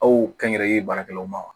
Aw kɛnyɛrɛye baarakɛlaw ma